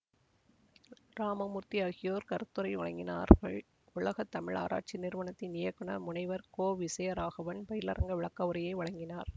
இராமமூர்த்தி ஆகியோர் கருத்துரை வழங்கினார்கள் உலக தமிழாராய்ச்சி நிறுவனத்தின் இயக்குநர் முனைவர் கோவிசயராகவன் பயிலரங்க விளக்கவுரையை வழங்கினார்